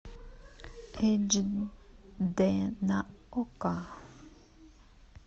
эйч д на окко